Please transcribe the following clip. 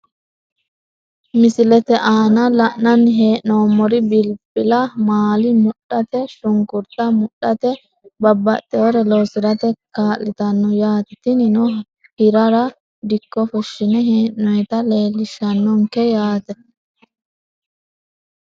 Misilete aana la`nani henomori bilabba maala mudhate shunkurta mudhate babaxewore loosirate kaalitano yaate tinino hirara dikko fushine hee`noyita leelishanonke yaate.